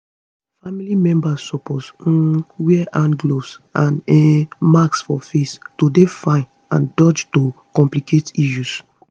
family members suppose um wear hand gloves and um masks for face to dey fine and dodge to complicate issue